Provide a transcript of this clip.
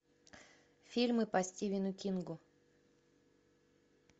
фильмы по стивену кингу